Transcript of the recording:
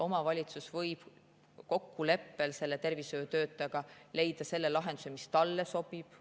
Omavalitsus võib kokkuleppel selle tervishoiutöötajaga leida lahenduse, mis talle sobib.